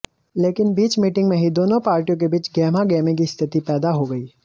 लेकिन बीच मीटिंग में ही दोनों पार्टियों के बीच गहमागहमी की स्थिति पैदा हो गई